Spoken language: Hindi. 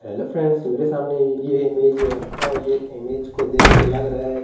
हेलो फ्रेंड्स मेरे सामने ये इमेज है और ये इमेज को देख के लग रहा है।